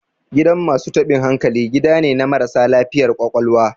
Gidan masu taɓin hankali, gida ne na marasa lafiyar ƙwaƙwalwa.